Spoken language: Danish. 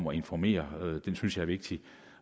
at informere er vigtig